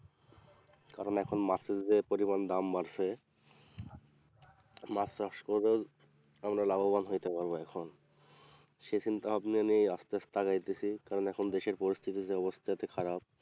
কারণ এখন মাছের যে পরিমাণ দাম বাড়ছে মাছ চাষ করে আমরা লাভবান হইতে পারবো এখন সেই চিন্তাভাবনা নিয়েই আসতে আসতে আগাইতেছি কারণ এখন দেশের পরিস্থিতির যা অবস্থা এতো খারাপ,